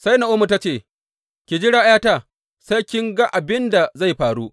Sai Na’omi ta ce, Ki jira, ’yata, sai kin ga abin da zai faru.